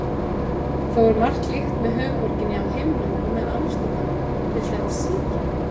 Þó er margt líkt með höfuðborginni á himnum og með Amsterdam, til dæmis síkin.